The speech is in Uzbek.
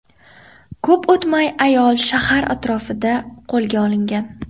Ko‘p o‘tmay ayol shahar atrofida qo‘lga olingan.